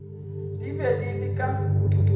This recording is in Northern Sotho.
di be di le ka